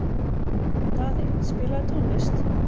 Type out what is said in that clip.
Daði, spilaðu tónlist.